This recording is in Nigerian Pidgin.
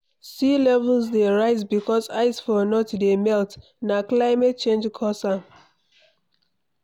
Sea levels dey rise becos ice for north dey melt na climate change cos am